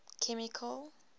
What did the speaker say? chemical